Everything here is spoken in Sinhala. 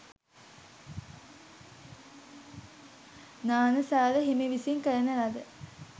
ඤාණසාර හිමි විසින් කරන ලද